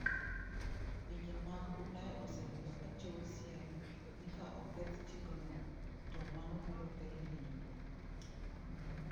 Pinje mag Ulaya osebedo ka chiwo siem ni ka oketh chikno, to mano biro kelo hinyruok.